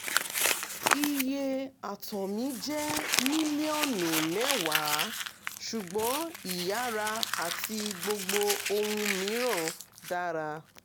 - iye àtọ̀ mi jẹ́ mílíọ̀nù mẹ́wàá ṣùgbọ́n ìyára àti gbogbo ohun mìíràn dára